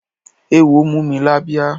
Eéwo mú mi lábíyá.